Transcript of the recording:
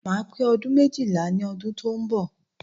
Máa pè ọdún méjìlá ní ọdún tí ó ń bọ̀